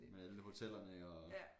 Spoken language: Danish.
Med alle hotellerne og